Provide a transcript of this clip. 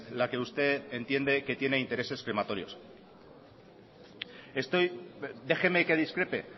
la que usted entiende que tiene intereses crematorios déjeme que discrepe